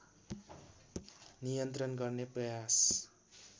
नियन्त्रण गर्ने प्रयास